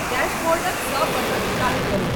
dashboard क सब button चालू करु